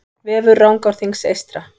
Vefur Rangárþings eystra